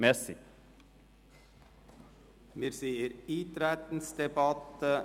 Wir befinden uns in der Eintretensdebatte.